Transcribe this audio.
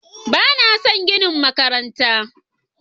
Ba na son ginin makarantar